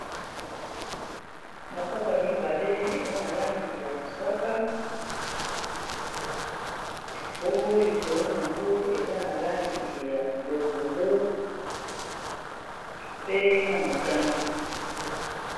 mapapa mibale eza na langi ya mosaka bongo likolo nango eza na langi ya longondo pe na motani